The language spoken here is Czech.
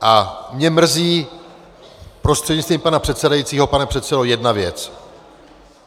A mě mrzí, prostřednictvím pana předsedajícího pane předsedo, jedna věc.